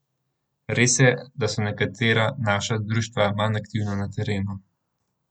Res je, da so nekatera naša društva manj aktivna na terenu.